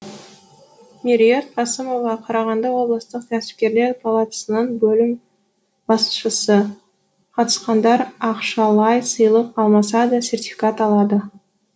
меруерт қасымова қарағанды облыстық кәсіпкерлер палатасының бөлім басшысы қатысқандар ақшалай сыйлық алмаса да сертификат алады